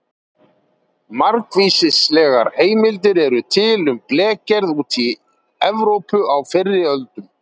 Margvíslegar heimildir eru til um blekgerð úti í Evrópu á fyrri öldum.